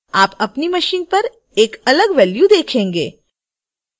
आप अपनी machine पर एक अलग value देखेंगे